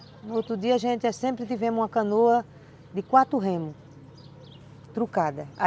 No outro dia, a gente sempre tive uma canoa de quatro remos, truncada.